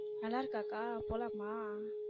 நல்லா இருக்கா அக்கா போலாமா.